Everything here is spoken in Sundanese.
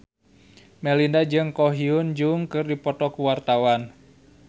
Melinda jeung Ko Hyun Jung keur dipoto ku wartawan